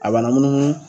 A bana munu